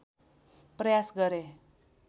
प्रयास गरे